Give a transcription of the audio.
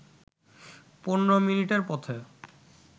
১৫ মিনিটের পথে